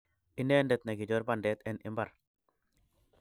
Inendet ne kichor bandet en imbar